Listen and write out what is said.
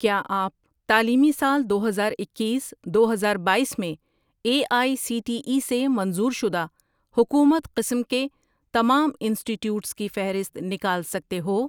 کیا آپ تعلیمی سال دو ہزار اکیس، دو ہزار باییس میں A I C T E سے منظور شدہ حکومت قسم کے تمام انسٹی ٹیوٹس کی فہرست نکال سکتے ہو؟